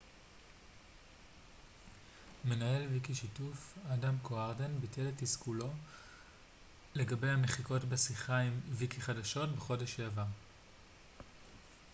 מנהל ויקישיתוף אדם קוארדן ביטא את תסכולו לגבי המחיקות בשיחה עם ויקיחדשות בחודש שעבר